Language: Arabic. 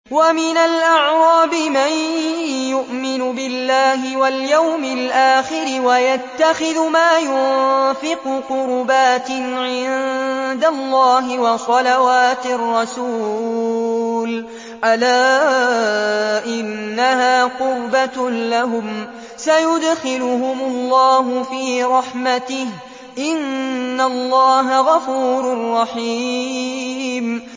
وَمِنَ الْأَعْرَابِ مَن يُؤْمِنُ بِاللَّهِ وَالْيَوْمِ الْآخِرِ وَيَتَّخِذُ مَا يُنفِقُ قُرُبَاتٍ عِندَ اللَّهِ وَصَلَوَاتِ الرَّسُولِ ۚ أَلَا إِنَّهَا قُرْبَةٌ لَّهُمْ ۚ سَيُدْخِلُهُمُ اللَّهُ فِي رَحْمَتِهِ ۗ إِنَّ اللَّهَ غَفُورٌ رَّحِيمٌ